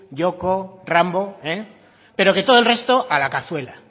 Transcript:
yoko rambo pero que todo el resto a la cazuela